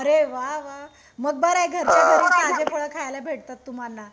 अरे वाह वाह मग बरं आहे घरच्या घरात फळ खायला भेटतात तुम्हांना